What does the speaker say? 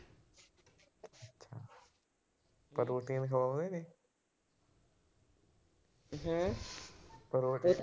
Protein ਖਵਾਉਂਦੇ ਨੇ। Protein